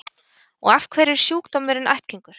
Og af hverju er sjúkdómurinn ættgengur?